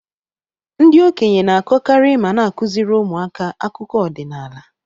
Ndị okenye na-akọkarị ma na-akụziri ụmụaka akụkọ ọdinala.